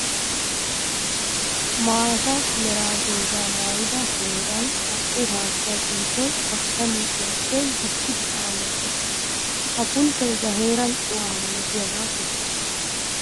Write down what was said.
Maata mera doozza maayidda heeran naa'u haatta pulttoy kakka liiphphiyappe guppiddi sa'an woxxes. Ha pulttoy ba heeran cuwa malattiyaba kesees.